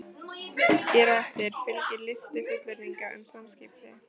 Hér á eftir fylgir listi fullyrðinga um samskipti.